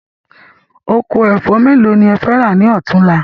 Oko ẹ̀fọ́ mélòó ni ẹ fẹ́ rà ni ọ̀túnla